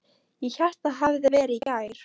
Ég hélt það hefði verið í gær.